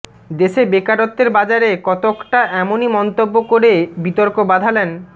দেশে বেকারত্বের বাজারে কতকটা এমনই মন্তব্য করে বিতর্ক বাধালেন